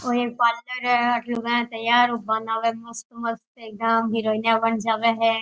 ओ एक पार्लर है अठे लुगायां तैयार होवन आवै है मस्त मस्त एकदम हीरोइना बन जावे है।